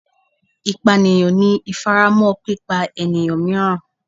Ipaniyan ni ifaramọ pipa eniyan miiran